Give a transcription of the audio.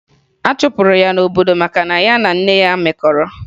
A chụpụrụ ya n'obodo maka na ya na nne ya mekọrọ